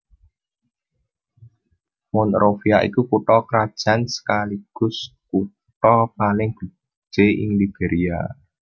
Monrovia iku kutha krajan sekaligus kutha paling gedhé ing Liberia